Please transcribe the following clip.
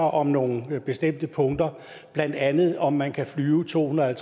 om nogle bestemte punkter blandt andet om man kan flyve to hundrede